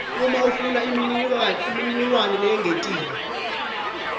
ufuna imininingwane leyengetiwe